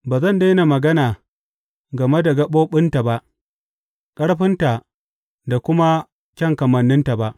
Ba zan daina magana game da gaɓoɓinta ba ƙarfinta da kuma kyan kamanninta ba.